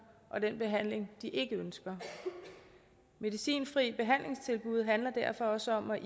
og den behandling de ikke ønsker medicinfrie behandlingstilbud handler derfor også om at